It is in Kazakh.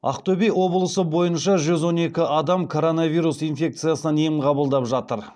ақтөбе облысы бойынша жүз он екі адам коронавирус инфекциясынан ем қабылдап жатыр